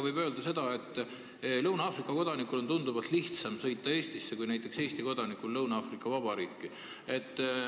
Võib öelda, et Lõuna-Aafrika kodanikul on tunduvalt lihtsam sõita Eestisse kui Eesti kodanikul Lõuna-Aafrika Vabariiki.